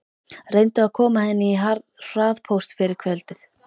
Reyndu að koma henni í hraðpóst fyrir kvöldið.